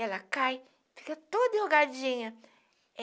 Ela cai, fica toda enrugadinha.